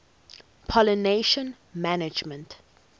pollination management